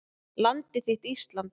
Landið þitt Ísland